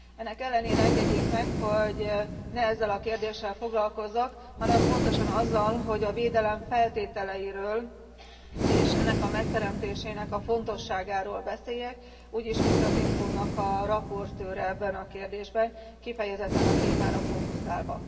Ennek ellenére engedjék meg, hogy ne ezzel a kérdéssel foglalkozzak, hanem pontosan azzal, hogy a védelem feltételeiről, és ennek a megteremtésének a fontosságáról beszéljek, úgy is, mint az IMCO nak a rapportőre ebben a kérdésben, kifejezetten a témára fókuszálva.